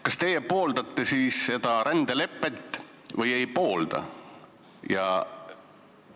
Kas teie pooldate seda rändelepet või ei poolda?